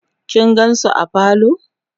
kin gansu a parlor?